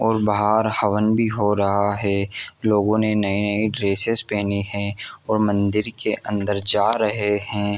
और बहार हवन भी हो रहा हैं लोगो ने नए ड्रेसेस पहने हैं और मंदिर के अंदर जा रहे हैं।